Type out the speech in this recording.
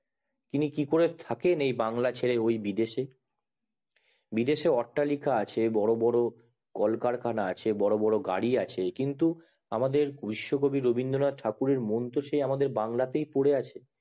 তিনি কি করে থাকেন এই বাংলা ছেড়ে বিদেশেবিদেশে অটলিকা আছে বড় বড় কল কারখানা আছে বড় বড় গাড়ি আছে কিন্তু আমাদের বিশ্বকবি রবীন্দ্রনাথ ঠাকুরের মন তো সেই বাংলাতেই পড়েআছে